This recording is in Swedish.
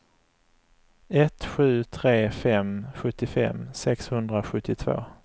ett sju tre fem sjuttiofem sexhundrasjuttiotvå